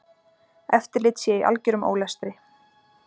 Eftirlit sé í algerum ólestri.